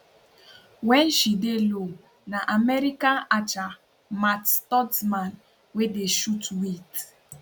wen she dey low na american archer matt stutzman wey dey shoot wit